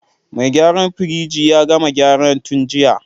Mai gyaran firij ya gama gyara tun jiya.